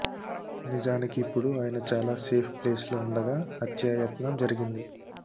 నిజానికి ఇప్పుడు ఆయన చాలా సేఫ్ ప్లేస్ లో ఉండగా హత్యాయత్నం జరిగింది